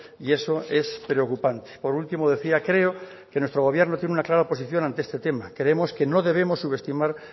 y eso es preocupante por último decía creo que nuestro gobierno tiene una clara oposición ante este tema creemos que no debemos subestimar